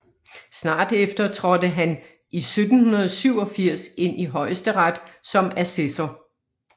Snart efter trådte han i 1787 ind i Højesteret som assessor